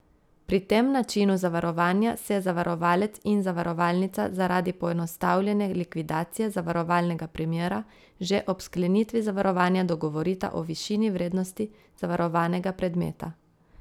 Pri tem načinu zavarovanja se zavarovalec in zavarovalnica zaradi poenostavljene likvidacije zavarovalnega primera že ob sklenitvi zavarovanja dogovorita o višini vrednosti zavarovanega predmeta.